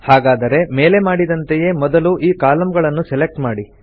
ಹಾಗಾದರೆ ಮೇಲೆ ಮಾಡಿದಂತೆಯೇ ಮೊದಲು ಈ ಕಾಲಂಗಳನ್ನು ಸೆಲೆಕ್ಟ್ ಮಾಡಿ